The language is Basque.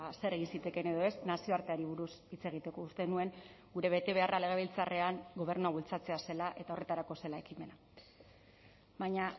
zer egin zitekeen edo ez nazioarteari buruz hitz egiteko uste nuen gure betebeharra legebiltzarrean gobernua bultzatzea zela eta horretarako zela ekimena baina